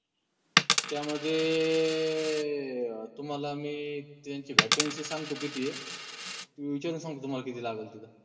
त्यामध्ये ए तुम्हाला मी त्यांची Vacancy सांगतो किती ए ते मी विचारून सांगतो तुम्हाला किती लागलं तिथं